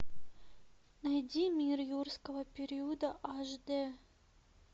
найди мир юрского периода аш дэ